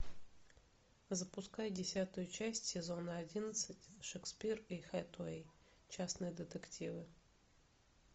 запускай десятую часть сезона одиннадцать шекспир и хэтэуэй частные детективы